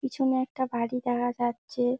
পেছনে একটা গাড়ি দেঘা যাচ্ছে-এ।